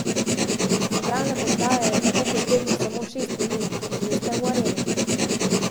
Iz centralne postaje je tako potrebnih samo šest minut, in že ste v Areni.